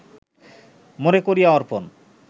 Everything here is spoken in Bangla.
মোরে করিয়া অর্পণ